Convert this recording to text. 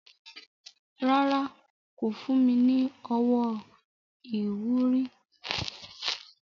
Rárá, kò fún mi ní owó ìwúrí.